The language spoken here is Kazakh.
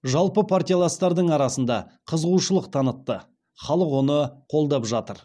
жалпы партияластардың арасында қызығушылық танытты халық оны қолдап жатыр